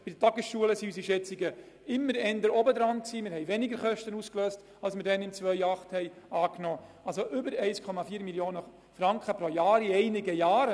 Bei den Tagesschulen waren die Schätzungen zum damaligen Zeitpunkt eher zu hoch angesetzt, das heisst die Kosten sind tiefer ausgefallen als im Jahr 2008 angenommen.